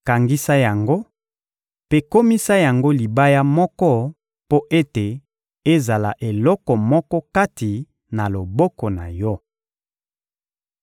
Kangisa yango mpe komisa yango libaya moko mpo ete ezala eloko moko kati na loboko na yo.